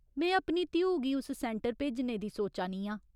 में अपनी धीऊ गी उस सैंटर भेजने दी सोचा नी आं।